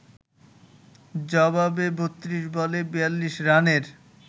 জবাবে ৩২ বলে ৪২ রানের